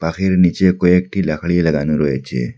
নীচে কয়েকটি লাখরিয়া লাগানো রয়েছে।